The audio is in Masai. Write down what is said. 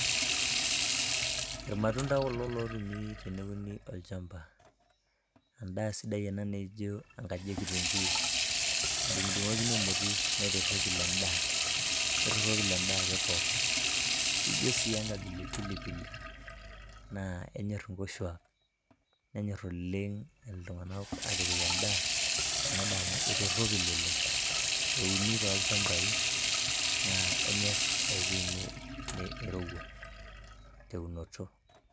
irmatunda kulo lotumi teneuni olchamba . endaa sidai ena naijo enkaji ekitunguu , nadungdungokini emoti neitoropil endaa ,neitoropil endaa ake pooki. ijo sii enkabila e pilipili , naa enyor inkoshuak, nenyor oleng iltunganak atipik endaa amu kitoropil oleng. euni toolchambai naa enyor ewuei nirowua te unoto